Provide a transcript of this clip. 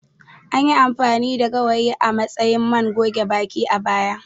Anyi amfani da gawayi a matsayin man goge baki, a baya.